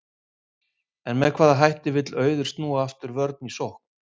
En með hvaða hætti vill Auður snúa vörn aftur í sókn?